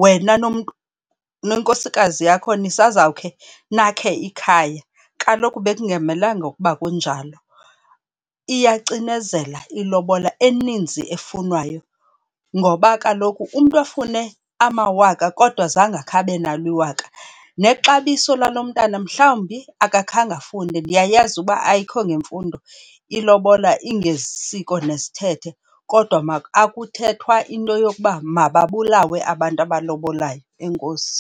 wena nomntu, nenkosikazi yakho nisazawukhe nakhe ikhaya, kaloku bekungamelanga ukuba kunjalo. Iyacinezela ilobola eninzi efunwayo ngoba kaloku umntu afune amawaka kodwa zange akhe abe nalo iwaka nexabiso lalo mntana mhlawumbi akakhange afunde. Ndiyayazi uba ayikho ngemfundo, ilobola ingesiko nezithethe kodwa akuthethwa into yokuba mababulawe abantu abalobayo. Enkosi.